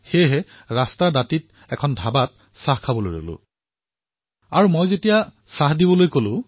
সেয়ে পথৰ কাষৰ এখন ধাবাত ৰৈ চাহৰ বাবে অৰ্ডাৰ দিলো